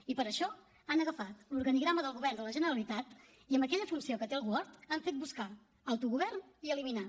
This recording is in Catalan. i per això han agafat l’organigrama del govern de la generalitat i amb aquella funció que té el word han fet buscar autogovern i eliminar